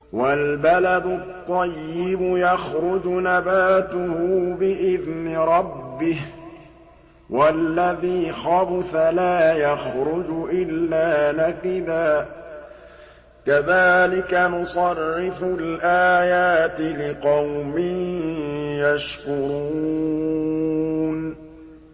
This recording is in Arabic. وَالْبَلَدُ الطَّيِّبُ يَخْرُجُ نَبَاتُهُ بِإِذْنِ رَبِّهِ ۖ وَالَّذِي خَبُثَ لَا يَخْرُجُ إِلَّا نَكِدًا ۚ كَذَٰلِكَ نُصَرِّفُ الْآيَاتِ لِقَوْمٍ يَشْكُرُونَ